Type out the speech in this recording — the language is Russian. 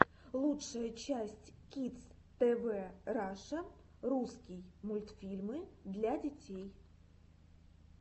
лучшая часть кидс тв раша русский мультфильмы для детей